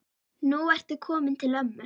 Nú ertu kominn til ömmu.